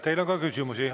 Teile on ka küsimusi.